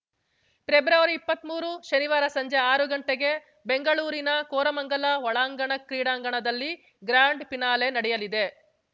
ಪ್ರೆಬ್ರವರಿಇಪ್ಪತ್ಮೂರು ಶನಿವಾರ ಸಂಜೆ ಆರು ಗಂಟೆಗೆ ಬೆಂಗಳೂರಿನ ಕೋರಮಂಗಲ ಒಳಾಂಗಣ ಕ್ರೀಡಾಂಗಣದಲ್ಲಿ ಗ್ರಾಂಡ್‌ ಫಿನಾಲೆ ನಡೆಯಲಿದೆ